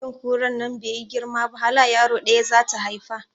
Cikin kuran nan baiyi girma ba hala yaro ɗaya zata haifa